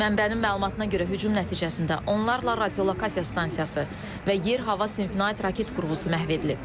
Mənbənin məlumatına görə, hücum nəticəsində onlarla radiolokasiya stansiyası və yer-hava sinfinə aid raket qurğusu məhv edilib.